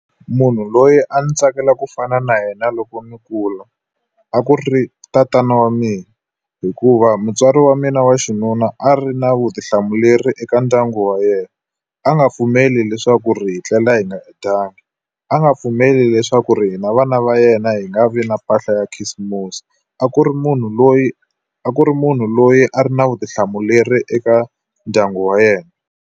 Munhu loyi a ndzi tsakela ku fana na yena loko mi kula, a ku ri tatana wa mina. Hikuva mutswari wa mina wa xinuna a ri na vutihlamuleri eka ndyangu wa yena. A nga pfumeli leswaku ri hi tlela hi nga dyanga, a nga pfumeli leswaku ri hina vana va yena hi nga vi na mpahla ya khisimusi. A ku ri munhu loyi a ku ri munhu loyi a ri na vutihlamuleri eka ndyangu wa yena.